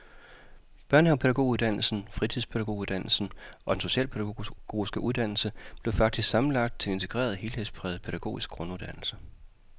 Børnehavepædagoguddannelsen, fritidspædagoguddannelsen og den socialpædagogiske uddannelse blev faktisk sammenlagt til en integreret helhedspræget pædagogisk grunduddannelse.